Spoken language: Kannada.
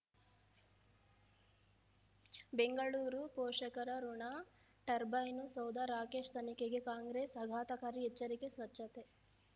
ಬೆಂಗಳೂರು ಪೋಷಕರಋಣ ಟರ್ಬೈನು ಸೌಧ ರಾಕೇಶ್ ತನಿಖೆಗೆ ಕಾಂಗ್ರೆಸ್ ಆಘಾತಕಾರಿ ಎಚ್ಚರಿಕೆ ಸ್ವಚ್ಛತೆ